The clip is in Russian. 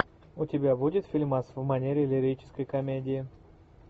у тебя будет фильмас в манере лирической комедии